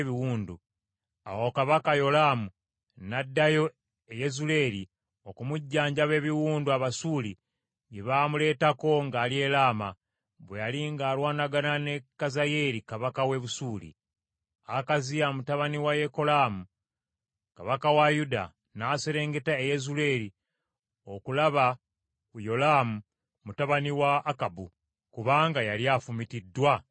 Awo kabaka Yolaamu n’addayo e Yezuleeri okumujjanjaba ebiwundu Abasuuli bye baamuleetako ng’ali e Lama, bwe yali ng’alwanagana ne Kazayeeri kabaka w’e Busuuli. Akaziya mutabani wa Yekolaamu kabaka wa Yuda n’aserengeta e Yezuleeri okulaba ku Yolaamu mutabani wa Akabu, kubanga yali afumitiddwa ebiwundu.